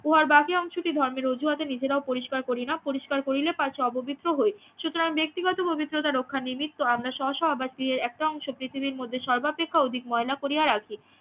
উহার বাকি অংশটি ধর্মের অজুহাতে নিজেরাও পরিস্কার করিনা পরিস্কার করিলে পাছে অপবিত্র হই সুতরাং ব্যক্তিগত পবিত্রতা রক্ষার নিবৃত্ত আমরা স্ব স্ব ব্যক্তিদের একটা অংশ পৃথিবীর মধ্যে সর্বাপেক্ষা অধিক ময়লা করিয়া রাখি